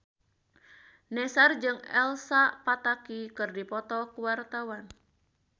Nassar jeung Elsa Pataky keur dipoto ku wartawan